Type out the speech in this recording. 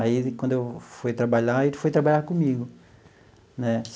Aí ele, quando eu fui trabalhar, ele foi trabalhar comigo né.